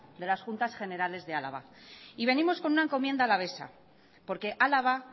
de las juntas generales de álava y venimos con una encomienda alavesa porque álava